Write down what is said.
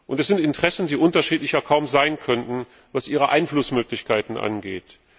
Es sind Interessen, die unterschiedlicher kaum sein könnten, was ihre Einflussmöglichkeiten angeht.